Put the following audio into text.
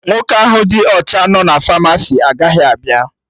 Nwoke ahụ dị ọcha nọ na Famasi agaghị abịa